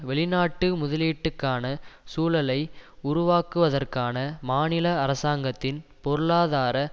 வெளிநாட்டு முதலீட்டுக்கான சூழலை உருவாக்குவதற்கான மாநில அரசாங்கத்தின் பொருளாதார